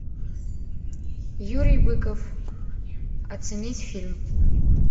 юрий быков оценить фильм